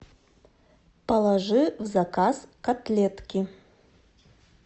положи в заказ котлетки